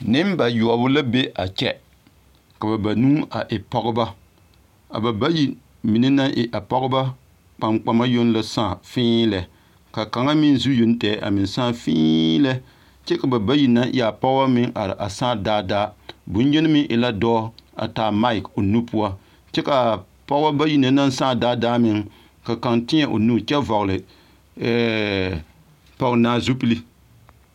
Nembayoɔbo la be a kyɛ ka banuu e pɔɡebɔ a ba bayi na mine naŋ e a pɔɡebɔ kpaŋkpama yoŋ la sãã fēēlɛ ka kaŋa meŋ zu yoŋ tɛŋ a meŋ sãã fēēlɛ kyɛ ka a ba bayi na naŋ e a pɔɡebɔ are sãã daadaa la dɔɔ a taa maake o nu poɔ kyɜ ka a pɔɡebɔ bayi na naŋ sãã daadaa meŋ ka kaŋ tēɛ o nu ɛɛɛ pɔɡenaa zupili.